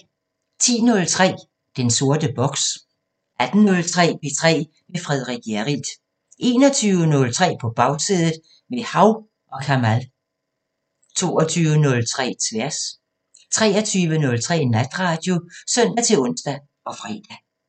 10:03: Den sorte boks 18:03: P3 med Frederik Hjerrild 21:03: På Bagsædet – med Hav & Kamal 22:03: Tværs 23:03: Natradio (søn-ons og fre)